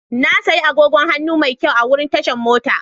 Na sayi agogon hannu mai kyau a wurin tashan mota.